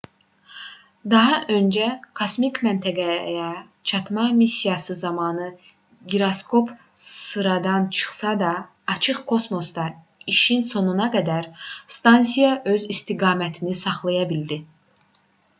daha öncə kosmik məntəqəyə çatma missiyası zamanı giroskop sıradan çıxsa da açıq kosmosda işin sonuna qədər stansiya öz istiqamətini saxlaya bildi